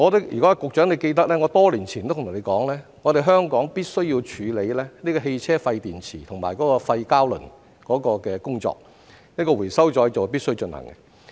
如果局長記得，我多年前曾對他說，香港必須處理汽車廢電池和廢膠輪的工作，回收再造是必須進行的。